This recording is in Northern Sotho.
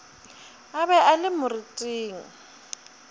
a be a le moriting